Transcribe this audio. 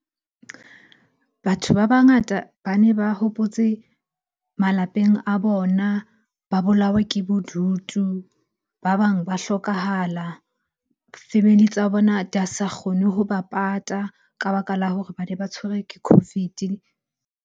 Batho ba bangata bane ba hopotse malapeng a bona, ba bolawa ke bodutu, ba bang ba hlokahala. Family tsa bona di a sa kgone hoba pata ka baka la hore bane ba tshwerwe ke COVID-e.